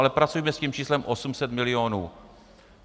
Ale pracujme s tím číslem 800 milionů.